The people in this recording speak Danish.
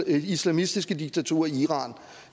islamistiske diktaturer i iran